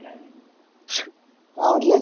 काय मनटले